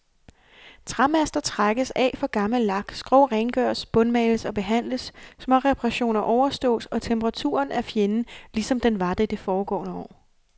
Træmaster trækkes af for gammel lak, skrog rengøres, bundmales og behandles, småreperationer overstås, og temperaturen er fjenden, lige som den var det de foregående år.